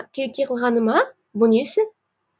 келеке қылғаны ма бұ несі